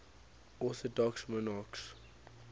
orthodox monarchs